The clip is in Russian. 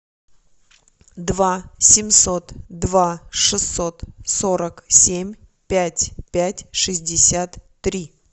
два семьсот два шестьсот сорок семь пять пять шестьдесят три